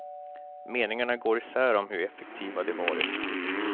Meningarna går isär om hur effektiva de varit.